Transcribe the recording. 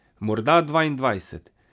Morda dvaindvajset.